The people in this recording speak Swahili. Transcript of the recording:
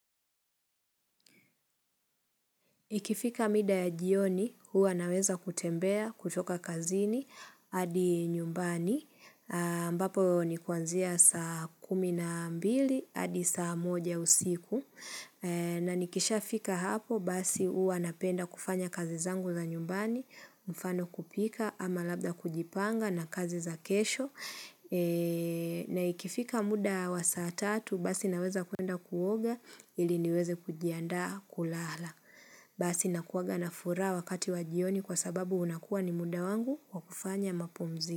Ikifika mida ya jioni, huwa naweza kutembea, kutoka kazini, hadi nyumbani, ambapo ni kuanzia saa kumi na mbili, hadi saa moja usiku, na nikishaa fika hapo, basi huwa napenda kufanya kazi zangu za nyumbani, mfano kupika, ama labda kujipanga na kazi za kesho, na ikifika muda wa saa tatu, basi naweza kuenda kuoga, ili niweze kujiandaa kulala. Basi nakuanga na furaha wakati wa jioni kwa sababu unakua ni muda wangu kwa kufanya mapumzi.